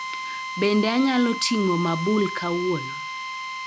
Bende anyalo ting'o mabul kawuono